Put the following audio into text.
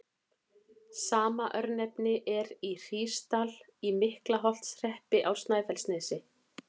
Sama örnefni er í Hrísdal í Miklaholtshreppi á Snæfellsnesi.